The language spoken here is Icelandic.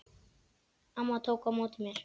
Amma tók á móti mér.